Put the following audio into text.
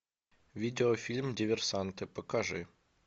видеофильм диверсанты покажи